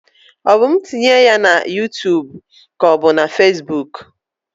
Ọ mụ tinye ya na yuutub k'ọ bụ na fesbuk?